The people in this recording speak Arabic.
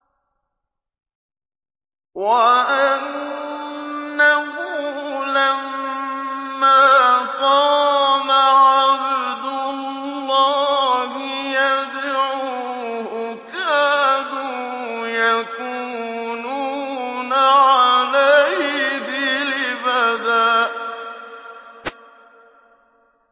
وَأَنَّهُ لَمَّا قَامَ عَبْدُ اللَّهِ يَدْعُوهُ كَادُوا يَكُونُونَ عَلَيْهِ لِبَدًا